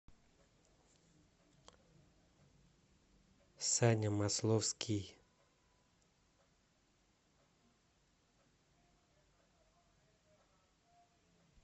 саня масловский